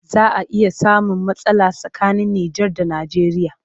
Za a iya samun matsala tsakanin Nijar da Nijeriya